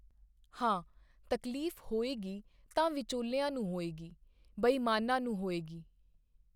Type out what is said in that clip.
ਹਾਂ, ਤਕਲੀਫ਼ ਹੋਏਗੀ ਤਾਂ ਵਿਚੋਲਿਆਂ ਨੂੰ ਹੋਏਗੀ, ਬੇਈਮਾਨਾਂ ਨੂੰ ਹੋਏਗੀ।